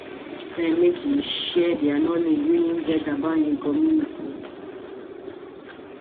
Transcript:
friend make he share di knowledge wey he get about him community